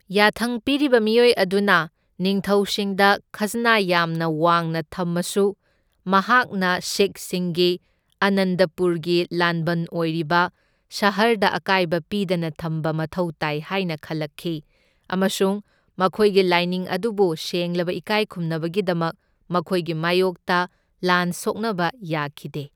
ꯌꯥꯊꯪ ꯄꯤꯔꯤꯕ ꯃꯤꯑꯣꯏ ꯑꯗꯨꯅ ꯅꯤꯡꯊꯧꯁꯤꯡꯗ ꯈꯖꯅꯥ ꯌꯥꯝꯅ ꯋꯥꯡꯅ ꯊꯝꯃꯁꯨ ꯃꯍꯥꯛꯅ ꯁꯤꯈꯁꯤꯡꯒꯤ ꯑꯥꯅꯟꯗꯄꯨꯔꯒꯤ ꯂꯥꯟꯕꯟ ꯑꯣꯏꯔꯤꯕ ꯁꯍꯔꯗ ꯑꯀꯥꯏꯕ ꯄꯤꯗꯅ ꯊꯝꯕ ꯃꯊꯧ ꯇꯥꯏ ꯍꯥꯏꯅ ꯈꯜꯂꯛꯈꯤ ꯑꯃꯁꯨꯡ ꯃꯈꯣꯏꯒꯤ ꯂꯥꯏꯅꯤꯡ ꯑꯗꯨꯕꯨ ꯁꯦꯡꯂꯕ ꯏꯀꯥꯏ ꯈꯨꯝꯅꯕꯒꯤꯗꯃꯛ ꯃꯈꯣꯏꯒꯤ ꯃꯥꯢꯌꯣꯛꯇ ꯂꯥꯟ ꯁꯣꯛꯅꯕ ꯌꯥꯈꯤꯗꯦ꯫